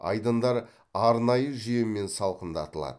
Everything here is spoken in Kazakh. айдындар арнайы жүйемен салқындатылады